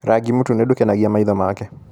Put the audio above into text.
Rangi mũtune ndũkenagia maitho make.